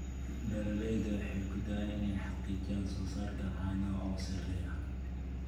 Beeraleydu waxay ku dadaalaan inay xaqiijiyaan soosaarka caanaha oo sarreeya.